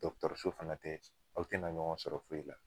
Dɔkɔtɔrɔso fana tɛ aw tena ɲɔgɔn sɔrɔ foyi la